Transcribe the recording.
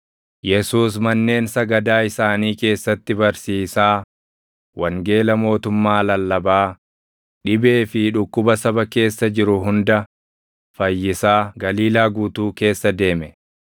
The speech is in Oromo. Yesuus manneen sagadaa isaanii keessatti barsiisaa, wangeela mootummaa lallabaa, dhibee fi dhukkuba saba keessa jiru hunda fayyisaa Galiilaa guutuu keessa deeme.